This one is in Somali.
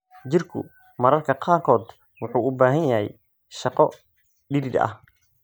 Jirku mararka qaarkood wuxuu u baahan yahay shaqo dhidid ah.